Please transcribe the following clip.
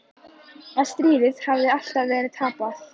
Að stríðið hafi alltaf verið tapað.